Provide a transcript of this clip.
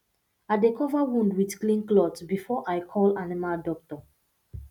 i dey cover wound with clean cloth before i call animal doctor